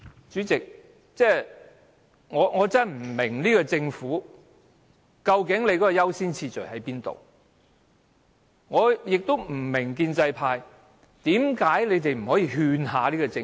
主席，我真的不明白政府如何釐定優先次序，我也不明白建制派為何不勸說政府？